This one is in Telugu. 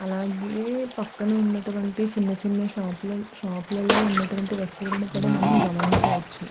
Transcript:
అలాగే పక్కన ఉన్నటువంటి చిన్న చిన్న షాపు లో షాపు లలో ఉన్నటువంటి వస్తువులను కూడా మనం గమనించవచ్చు.